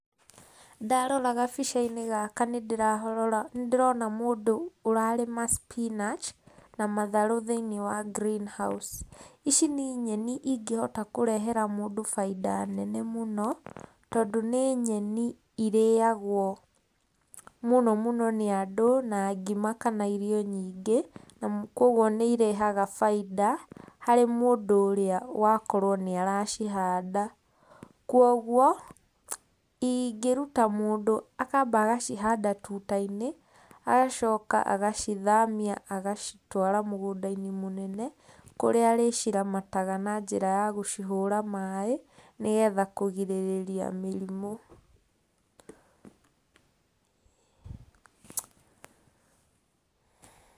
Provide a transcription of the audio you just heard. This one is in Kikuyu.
Ndarora gabica-inĩ gaka nĩ ndĩrarora ndĩrona mũndũ ũrarĩma spinach na matharũ thĩinĩ wa green house. Ici nĩ nyeni ingĩhota kũrehera mũndũ bainda nene mũno, tondũ nĩ nyeni ĩrĩagwo mũno mũno nĩ andũ, na ngima kana irio nyingĩ, na koguo nĩ irehaga bainda harĩ mũndũ ũrĩa wakorwo nĩ aracihanda. Kuoguo, ingĩruta mũndũ akamba agacihanda tuta-inĩ, agacoka agacithamia agacitwara mũgũnda-inĩ mũnene, kũrĩa arĩciramataga na njĩra ya gũcihũra maĩ, nĩgetha kũgirĩrĩria mĩrimũ.